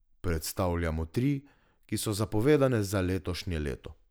Predstavljamo tri, ki so zapovedane za letošnje leto.